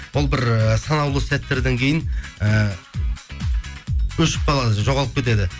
ол бір ііі санаулы сәттерден кейін і өшіп қалады жоғалып кетеді